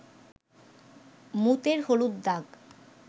মুতের হলুদ দাগ